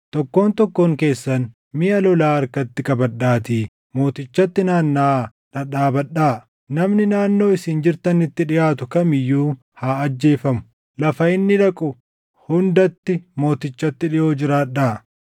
Tokkoon tokkoon keessan miʼa lolaa harkatti qabadhaatii mootichatti naannaʼaa dhadhaabadhaa. Namni naannoo isin jirtanitti dhiʼaatu kam iyyuu haa ajjeefamu. Lafa inni dhaqu hundatti mootichatti dhiʼoo jiraadhaa.”